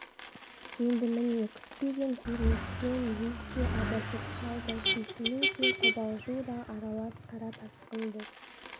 енді міне күтпеген көріністен өз де абыржып қалды сүйсіну де қобалжу да аралас қара тасқын боп